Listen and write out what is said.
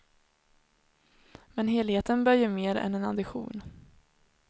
Men helheten bör ge mer än en addition.